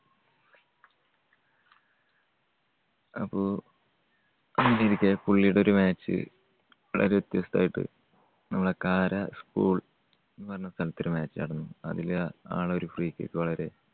അപ്പോ എനിക്ക്, എനിക്ക് പുള്ളിയുടെ ഒരു match വളരെ വ്യത്യസ്തമായിട്ട് നമ്മുടെ കാര school എന്നുപറഞ്ഞ സ്ഥലത്ത് ഒരു match നടന്നു. അതില് ആ~ആളൊരു free kick വളരെ